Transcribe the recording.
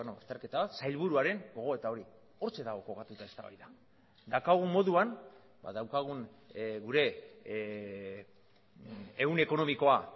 azterketa sailburuaren gogoeta hori hortxe dago kokatuta eztabaida daukagun moduan ba daukagun gure ehun ekonomikoa